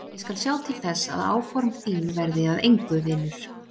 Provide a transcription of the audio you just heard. Ég skal sjá til þess að áform þín verði að engu, vinur!